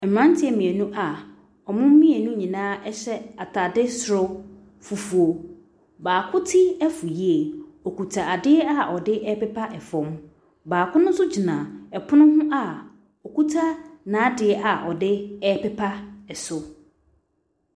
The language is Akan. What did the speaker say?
Mmeranteɛ mmienu a wɔn mmienu nyinaa hyɛ atade soro fufuo. Baako ti afu yie. Ɔkuta adeɛ a ɔde repepa fam. Baako no nso gyina ɛpono ho a ɔkuta n'adeɛ a ɔde repepa so.